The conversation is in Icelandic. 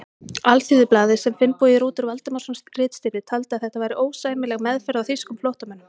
Alþýðublaðið, sem Finnbogi Rútur Valdimarsson ritstýrði, taldi að þetta væri ósæmileg meðferð á þýskum flóttamönnum.